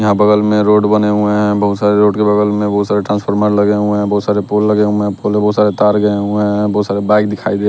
यहां बगल में रोड बने हुए हैं बहुत सारे रोड के बगल में बहुत सारे ट्रांसफार्मर लगे हुए हैं बहुत सारे पोल लगे हुए हैं पोल पे बहुत सारे तार गए हुए हैं बहुत सारे बाइक दिखाई दे--